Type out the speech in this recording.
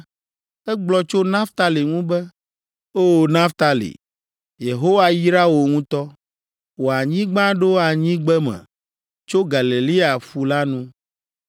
Egblɔ tso Naftali ŋu be: “O! Naftali, Yehowa yra wò ŋutɔ. Wò anyigba ɖo anyigbeme tso Galilea ƒu la nu.”